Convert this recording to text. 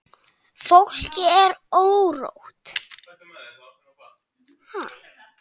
Fólki er órótt.